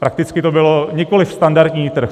Prakticky to byl nikoliv standardní trh.